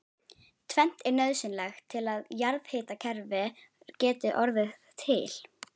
Tvennt er nauðsynlegt til að jarðhitakerfi geti orðið til.